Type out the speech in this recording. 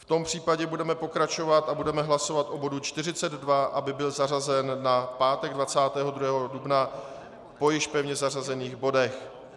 V tom případě budeme pokračovat a budeme hlasovat o bodu 42, aby byl zařazen na pátek 22. dubna po již pevně zařazených bodech.